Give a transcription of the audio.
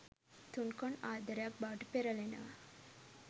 තුන්කොන් ආදරයක් බවට පෙරලෙනවා.